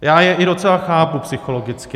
Já je i docela chápu psychologicky.